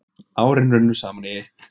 Árin runnu saman í eitt.